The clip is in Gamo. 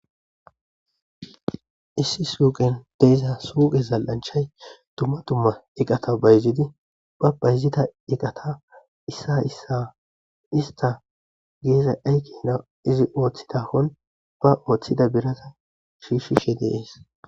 Issi suqen de'za zali'anichchay dumma dumma eqaththa bayizidi ba bayizida eqaththa isisa isisa esitha yizza ayikenna oththizzathan ba oththida birraththa shishidi de'es.